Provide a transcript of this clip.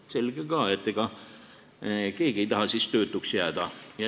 Selge ka, sest et ega keegi ei taha töötuks jääda.